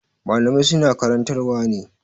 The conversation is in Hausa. Malamai su na karantar wa ne